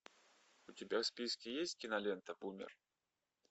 у тебя в списке есть кинолента бумер